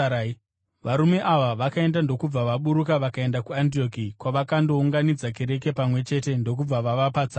Varume ava vakaenda ndokubva vaburuka vakaenda kuAndioki, kwavakandounganidza kereke pamwe chete ndokubva vavapa tsamba.